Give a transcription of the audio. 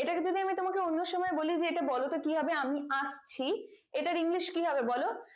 এটাকে যদি আমি অন্য সময় বলি এটা বলতো কি হবে আমি আসছি এটার english কি হবে বলো